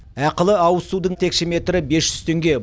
ақылы ауызсудың текше метрі бес жүз теңге